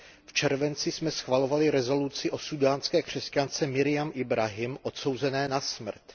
V červenci jsme schvalovali rezoluci o súdánské křesťance Meriam Ibrahimové odsouzené na smrt.